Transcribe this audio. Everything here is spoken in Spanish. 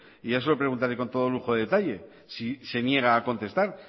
y ya se lo preguntaré con todo lujo de detalles si se niega a contestar